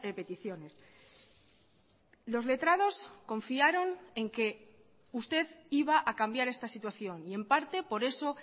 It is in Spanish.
peticiones los letrados confiaron en que usted iba a cambiar esta situación y en parte por eso